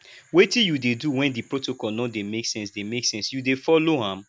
wetin you dey do when di protocol no dey make sense dey make sense you dey follow am